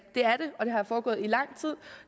og den har foregået i lang tid